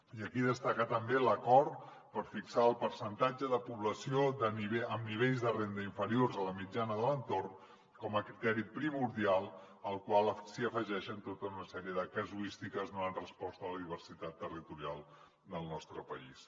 i aquí destacar també l’acord per fixar el percentatge de població amb nivells de renda inferiors a la mitjana de l’entorn com a criteri primordial al qual s’hi afegeixen tota una sèrie de casuístiques donant resposta a la diversitat territorial del nostre país